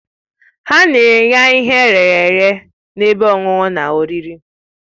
Ha nyere ya ihe eyere eye na ebe ọṅụṅụ na oriri